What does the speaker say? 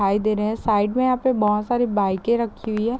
खाई दे रहे है। साइड में यहाँ पे बहोत सारी बाइके रखी हुई है।